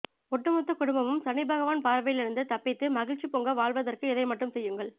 ஒட்டுமொத்த குடும்பமும் சனிபகவான் பார்வையிலிருந்து தப்பித்து மகிழ்ச்சி பொங்க வாழ்வதற்கு இதை மட்டும் செய்யுங்கள்